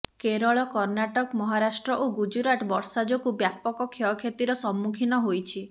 କେରଳ କର୍ଣ୍ଣାଟକ ମହାରାଷ୍ଟ୍ର ଓ ଗୁଜୁରାଟ ବର୍ଷା ଯୋଗୁଁ ବ୍ୟାପକ କ୍ଷୟକ୍ଷତିର ସମ୍ମୁଖୀନ ହୋଇଛି